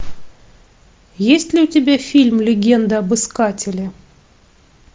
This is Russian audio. есть ли у тебя фильм легенда об искателе